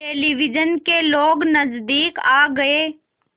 television के लोग नज़दीक आ गए